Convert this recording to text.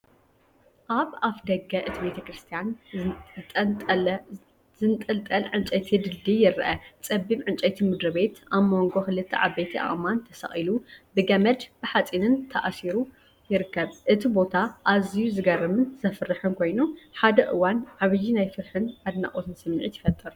ኣብ ኣፍደገ እቲ ቤተክርስትያን ዝጠንጠለ ዕንጨይቲ ድልድል ይርአ። ጸቢብ ዕንጨይቲ ምድሪቤት ኣብ መንጎ ክልተ ዓበይቲ ኣእማን ተሰቒሉ ብገመድን ብሓጺንን ተኣሲሩ ይርከብ። እቲ ቦታ ኣዝዩ ዝገርምን ዘፍርሕን ኮይኑ፡ ሓደ እዋን ዓቢይ ናይ ፍርሕን ኣድናቖትን ስምዒት ይፈጥር።